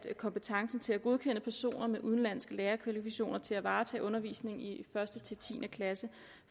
kompetencen til at godkende personer med udenlandske lærerkvalifikationer til at varetage undervisningen i første ti klasse